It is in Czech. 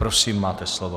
Prosím, máte slovo.